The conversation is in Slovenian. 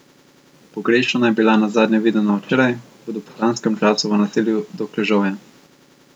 Pogrešana je bila nazadnje videna včeraj, v dopoldanskem času v naselju Dokležovje.